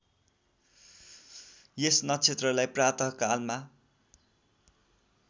यस नक्षत्रलाई प्रातःकालमा